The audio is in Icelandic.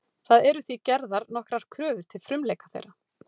Það eru því gerðar nokkrar kröfur til frumleika þeirra.